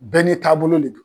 Bɛɛ n'i taabolo le don.